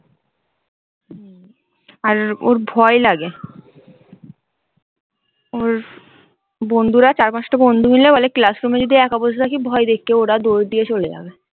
হম আর ওর ভয় লাগে। ওর বন্ধুরা চার পাঁচটা বন্ধু মিলে বলে, classroom এ যদি একা বসে থাকি ভয় দেখিয়ে ওরা দৌড় দিয়ে চলে যাবে।